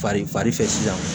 Fari fari fɛ sisan